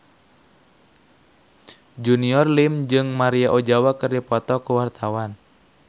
Junior Liem jeung Maria Ozawa keur dipoto ku wartawan